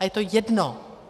A je to jedno.